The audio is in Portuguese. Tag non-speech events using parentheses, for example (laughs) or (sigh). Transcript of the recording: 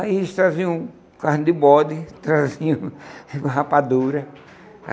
Aí eles traziam carne de bode, traziam (laughs) rapadura.